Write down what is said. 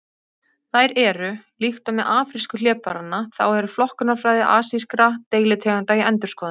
Þær eru: Líkt og með afrísku hlébarðanna þá er flokkunarfræði asískra deilitegunda í endurskoðun.